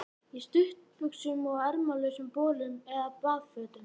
Í stuttbuxum og ermalausum bolum eða baðfötum.